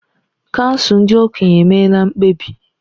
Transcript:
Kansụl ndị okenye emeela mkpebi.